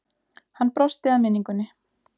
Hann brosti að minningunni.